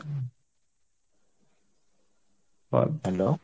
hello